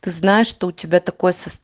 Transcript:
ты знаешь что у тебя такое сост